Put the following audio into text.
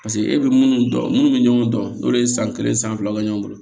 Paseke e bɛ minnu dɔn munnu bɛ ɲɔgɔn dɔn n'olu ye san kelen san filaw kɛ ɲɔgɔn bolo